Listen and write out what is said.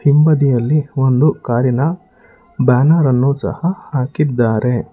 ಹಿಂಬದಿಯಲ್ಲಿ ಒಂದು ಕಾರಿನ ಬ್ಯಾನರ್ ಅನ್ನು ಸಹ ಹಾಕಿದ್ದಾರೆ.